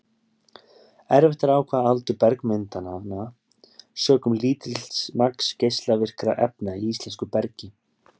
Erfitt er að ákveða aldur bergmyndananna, sökum lítils magns geislavirkra efna í íslensku bergi.